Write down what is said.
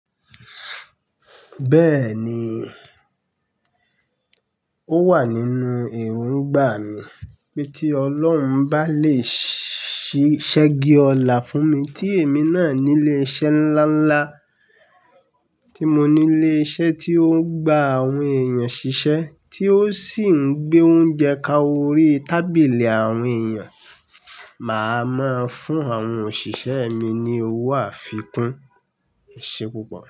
Bẹ́ẹ̀ni, ó wà nínú èròǹgbà mi pé tí Ọlọ́run bá lè ṣí ṣẹ́gi ọlá fún mi tí èmi náà nílé iṣẹ́ ńláńlá, tí mo nílé iṣẹ́ tí ó ń gba àwọn èèyàn ṣiṣẹ́, tí ó sì ń gbé oúnjẹ ká orí tábìlì àwọn èèyàn, má máa ń fún àwọn òṣìṣẹ́ mi ní owó àfikún. Éṣé púpọ̀?